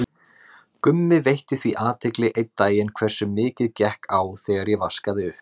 Gummi veitti því athygli einn daginn hversu mikið gekk á þegar ég vaskaði upp.